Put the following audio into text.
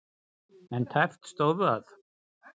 En tæpt stóð það.